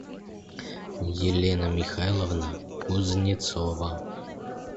елена михайловна кузнецова